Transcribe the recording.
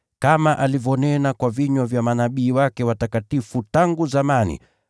kama alivyonena kwa vinywa vya manabii wake watakatifu tangu zamani,